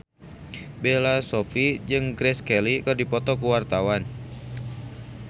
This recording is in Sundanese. Bella Shofie jeung Grace Kelly keur dipoto ku wartawan